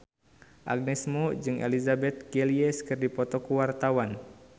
Agnes Mo jeung Elizabeth Gillies keur dipoto ku wartawan